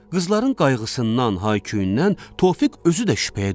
Qızların qayğısından, hay-küyündən Tofiq özü də şübhəyə düşürdü.